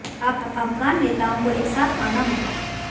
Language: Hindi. अब अफगान नेताओं को एक साथ आना होगा